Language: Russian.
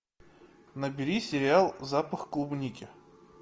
набери сериал запах клубники